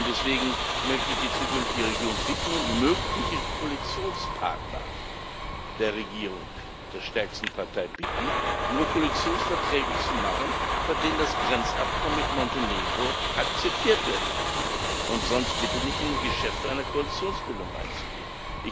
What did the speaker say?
Deswegen möchte ich die zukünftige Regierung und mögliche Koalitionspartner der Regierung der stärksten Partei bitten, nur Koalitionsverträge zu machen, bei denen das Grenzabkommen mit Montenegro akzeptiert wird, und sonst bitte nicht in Geschäfte einer Koalitionsbildung einzugehen.